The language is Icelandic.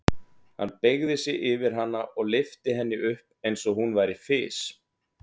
Hann beygði sig yfir hana og lyfti henni upp eins og hún væri fis.